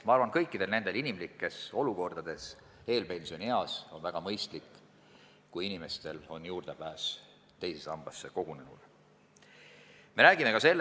Ma arvan, et kõikides nendes inimlikes olukordades, mis eelpensioni eas võivad tekkida, on väga mõistlik, kui inimestel on juurdepääs oma teise sambasse kogunenud varale olemas.